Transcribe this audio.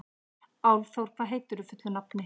Álfþór, hvað heitir þú fullu nafni?